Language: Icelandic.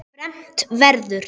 Fermt verður.